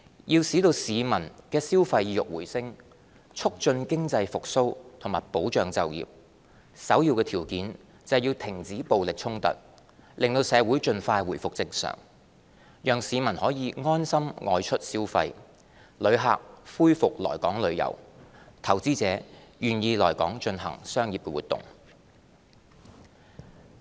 要使市民的消費意欲回升，促進經濟復蘇和保障就業，首要條件是要停止暴力衝突，令社會盡快回復正常，讓市民可以安心外出消費，旅客恢復來港旅遊，投資者願意來港進行商業活動。